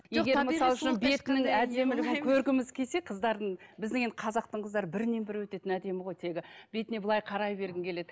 егер мысал үшін бетінің әдемілігін көргіміз келсе қыздардың біздің енді қазақтың қыздары бірінен бірі өтетін әдемі ғой тегі бетіне былай қарай бергің келеді